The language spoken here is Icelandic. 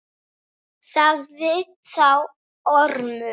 Sagði þá Ormur: